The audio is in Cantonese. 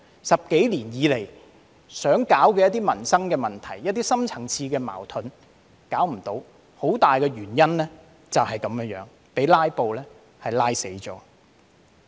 十多年以來想處理的一些民生問題和深層次矛盾均無法處理，很大原因就是被"拉布"拖垮。